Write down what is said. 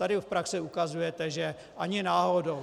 Tady v praxi ukazujete, že ani náhodou.